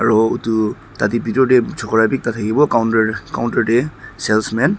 aro etu tah teh bithor teh chokra bhi ekta thakibo counter counter teh salesman --